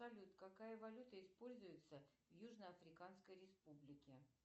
салют какая валюта используется в южно африканской республике